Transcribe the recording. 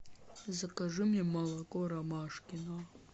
закажи мне молоко ромашкино